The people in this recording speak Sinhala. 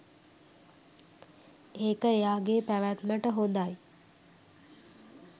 ඒක එයාගේ පැවැත්මට හොඳයි.